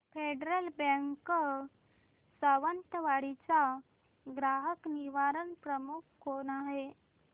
federal Bank Sawantwadi चा ग्राहक निवारण प्रमुख कोण आहे